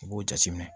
U b'o jate minɛ